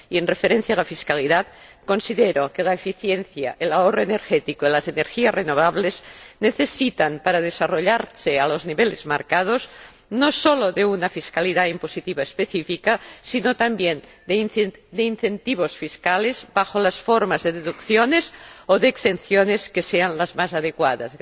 En cuanto a la fiscalidad, considero que la eficiencia, el ahorro energético y las energías renovables necesitan, para desarrollarse a los niveles marcados, no solo de una fiscalidad impositiva específica, sino también de incentivos fiscales bajo las formas de deducciones o de exenciones que sean las más adecuadas.